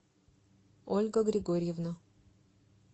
ольга григорьевна